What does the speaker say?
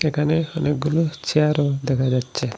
এখানে অনেকগুলো চেয়ারও দেখা যাচ্ছে।